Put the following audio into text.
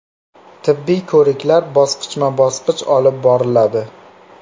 Tibbiy ko‘riklar bosqichma-bosqich olib boriladi.